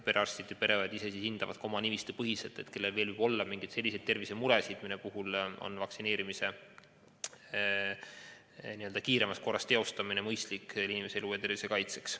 Perearstid ja pereõed ise hindavad oma nimistu põhjal, kellel veel võib olla selliseid tervisemuresid, mille puhul on mõistlik inimene kiiremas korras vaktsineerida, et kaitsta tema elu ja tervist.